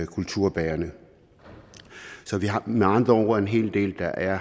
kulturbærende så vi har med andre ord en hel del der er